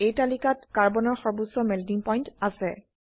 এই তালিকাত কাৰ্বনৰ সৰ্বোচ্চ মেল্টিং পইণ্ট আছে